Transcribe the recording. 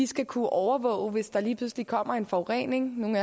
skal kunne overvåge hvis der lige pludselig kommer en forurening nogle